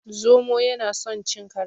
Zomo yana son cin karas.